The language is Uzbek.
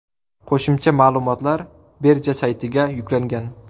Qo‘shimcha ma’lumotlar birja saytiga yuklangan.